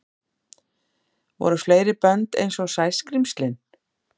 Voru fleiri bönd einsog Sæskrímslin?